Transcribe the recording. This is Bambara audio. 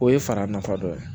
O ye fara nafa dɔ ye